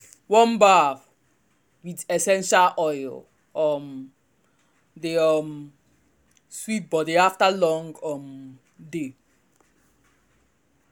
warm bath with essential oil um dey um sweet body after long um day.